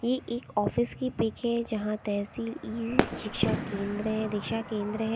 ये एक ऑफिस की पिक है जहां तहसील इ शिक्षा केंद्र दिशा केंद्र है।